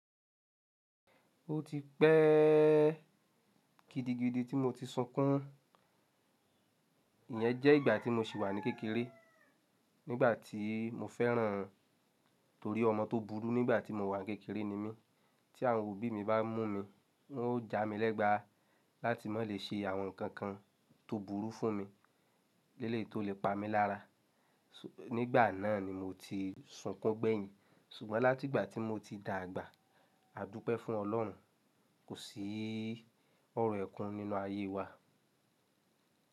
Ó ti pẹ́ gidigidi tí mo ti sunkún. Iyẹn jẹ́ ìgbà tí mo sì wà ní kékeré nígbà tí mo fẹ́ràn torí ọmọ tó burú nígbà tí mo wà ní kékeré ni mí. Tí àwọn òbí mi bá mú mi, wọ́n ó jà mí lẹ́gba láti má lè ṣe àwọn nǹkan tó burú fún mi, léle tó lè pa mí lára. Nígbà náà ni mo ti sunkún gbẹ̀yìn. Ṣùgbọ́n láti ìgbà tí mo ti dàgbà, a dúpẹ́ fún Ọlọ́run. Kò sí ọ̀rọ̀ ẹ̀kún nínú ayé wa.